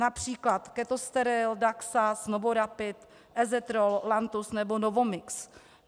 Například ketosteril, daxas, novorapid, ezetrol, lantus nebo novomix.